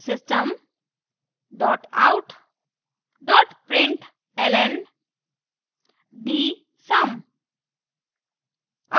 system out println dsum